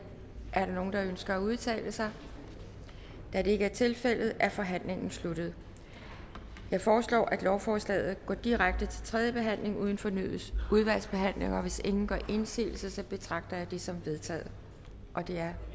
er der nogen der ønsker at udtale sig da det ikke er tilfældet er forhandlingen sluttet jeg foreslår at lovforslaget går direkte til tredje behandling uden fornyet udvalgsbehandling hvis ingen gør indsigelse betragter jeg dette som vedtaget det er